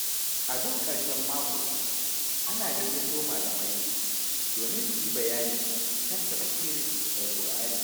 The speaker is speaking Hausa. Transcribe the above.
A duk ƙarshen mako, ana gayyato malamai domin su yi bayani kan tafsirin Alƙur’ani.